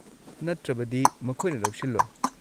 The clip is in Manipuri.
ꯅꯠꯇ꯭ꯔꯕꯗꯤ, ꯃꯈꯣꯏꯅ ꯂꯧꯁꯤꯜꯂꯣꯏ꯫